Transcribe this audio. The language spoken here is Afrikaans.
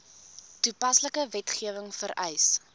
toepaslike wetgewing vereis